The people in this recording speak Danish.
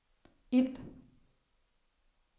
ild